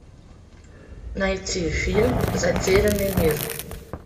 найти фильм затерянный мир